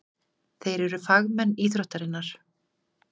Þeir eru fagmenn íþróttarinnar.